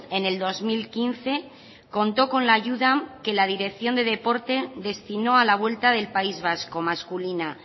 en el dos mil quince contó con la ayuda que la dirección de deporte destinó a la vuelta del país vasco masculina